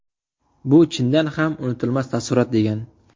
Bu chindan ham unutilmas taassurot”, degan.